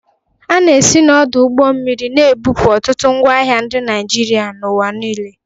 A na-esi n'ọdụ ụgbọ mmiri na-ebupụ ọtụtụ ngwaahịa ndị Naịjirịa n'ụwa niile.